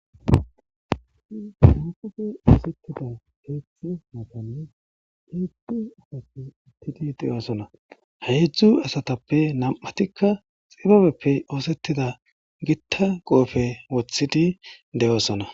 Hedzdzu asati utid de'osona, ha hedzdzu asatappe nam'atima xiababeppe ostida gita qope wothid de'osona